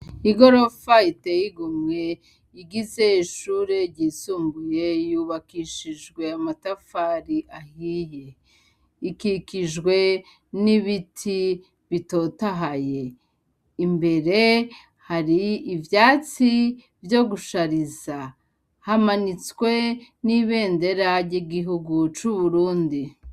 Igorofa itey'igomwe igize ishure ryisumbuye yubakishijwe amatafari ahiye. Ikikijwe n'ibiti bitotahaye. Imbere hari ivyatsi vyo gushariza. Hamanitswe n'ibendera ry'igihugu c'uburundi.